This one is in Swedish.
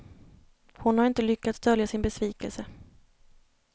Hon har inte lyckats dölja sin besvikelse.